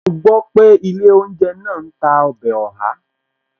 Mo gbọ́ pé ilé ounje náà ń tà ọbẹ̀ Oha